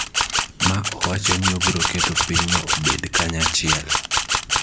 ma owacho ni obiro keto pinyno obed kanyachiel.